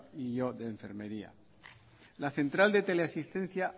y o de enfermería la central de tele asistencia